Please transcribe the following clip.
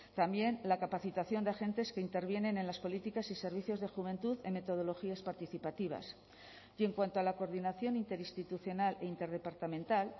también la capacitación de agentes que intervienen en las políticas y servicios de juventud en metodologías participativas y en cuanto a la coordinación interinstitucional e interdepartamental